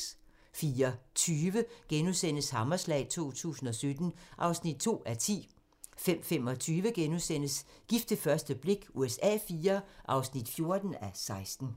04:20: Hammerslag 2017 (2:10)* 05:25: Gift ved første blik USA IV (14:16)*